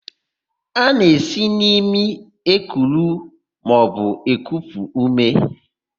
A na-esi n'imi ekuru maọbụ ekupu úmé.